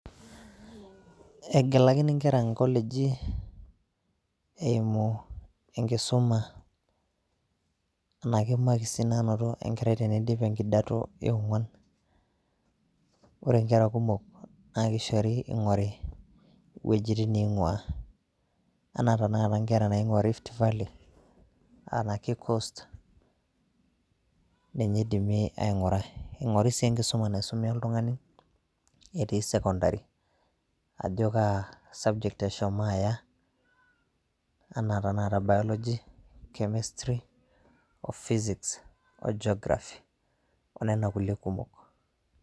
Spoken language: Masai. Egelakini nkera nkoleji eimu enkisuma. enaake makisi naanoto enkarai teneidip enkidato eogwan ,ore nkera kumok naa kishori eingori wejitin neiguaa ,enaa tenakata nkera naingua rift valley ene coast ninye eidimi ainguraa ,eingori sii enkisum naisume oltungani etii secondary ajo kaasubject eshomo aya enaa tenakata bology, chemistry o physics o geography onena kulie kumok.